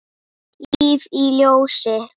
Líf í ljósi.